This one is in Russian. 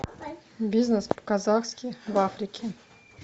бизнес по казахски в африке